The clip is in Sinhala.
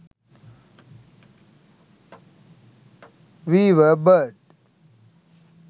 weaver bird